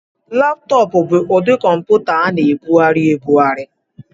Laptọọpụ bụ ụdị kọmputa a na-ebugharị ebugharị.